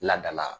Ladala